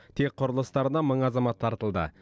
тек құрылыстарына мың азамат тартылды